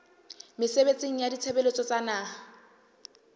mesebetsing ya ditshebeletso tsa naha